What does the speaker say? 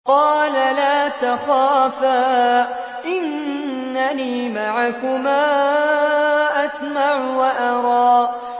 قَالَ لَا تَخَافَا ۖ إِنَّنِي مَعَكُمَا أَسْمَعُ وَأَرَىٰ